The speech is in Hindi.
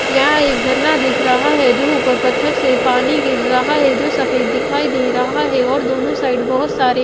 यहां एक झरना दिख रहा है जो ऊपर पत्थर से पानी गिर रहा है जो सफेद दिखाई दे रहा है और दोनों साइड बहुत सारे--